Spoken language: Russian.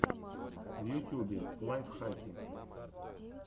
в ютюбе лайфхаки